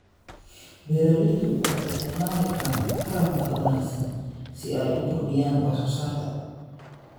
Beeraleydu waxay isticmaali karaan taran ka wanaagsan si ay u kordhiyaan wax soo saarka.